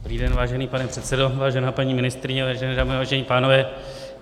Dobrý den, vážený pane předsedo, vážená paní ministryně, vážené dámy, vážení pánové.